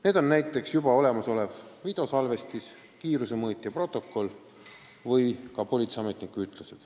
Need on näiteks olemasolev videosalvestis, kiirusemõõtja protokoll või ka politseiametniku ütlus.